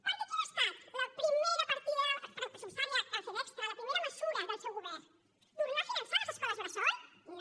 perquè quina ha estat la primera partida pressupostària que han fet extra la primera mesura del seu govern tornar a finançar les escoles bressol no